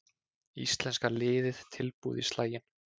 Íslenska liðið tilbúið í slaginn